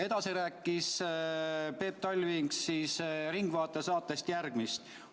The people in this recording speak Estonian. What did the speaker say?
Edasi rääkis Peep Talving "Ringvaate" saates umbes järgmist.